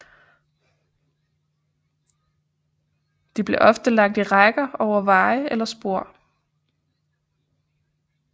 De blev ofte lagt i rækker over veje eller spor